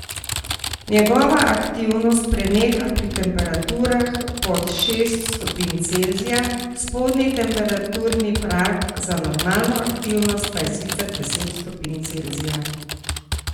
Njegova aktivnost preneha pri temperaturah pod šest stopinj Celzija, spodnji temperaturni prag za normalno aktivnost pa je sicer deset stopinj Celzija.